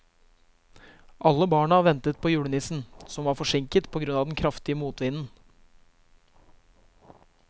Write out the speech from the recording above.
Alle barna ventet på julenissen, som var forsinket på grunn av den kraftige motvinden.